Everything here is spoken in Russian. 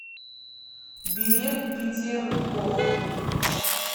билет петергоф